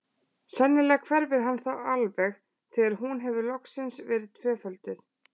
Sennilega hverfur hann þá alveg þegar hún hefur loksins verið tvöfölduð.